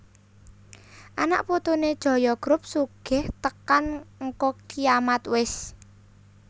Anak putune Jaya Group sugih tekan ngko kiamat wes